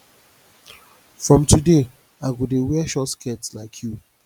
from today i go dey wear short skirt like you